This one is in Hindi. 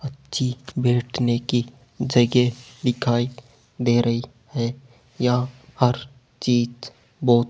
अच्छी बैठने की जगह दिखाई दे रही है यहां हर चीज बहुत--